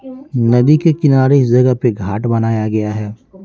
नदी के किनारे इस जगह पे घाट बनाया गया है।